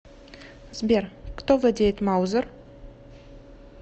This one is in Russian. сбер кто владеет маузер